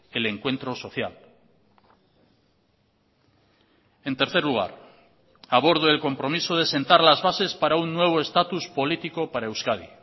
el encuentro social en tercer lugar abordo el compromiso de sentar las bases para un nuevo estatus político para euskadi